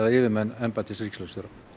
yfirmenn embættis ríkislögreglustjóra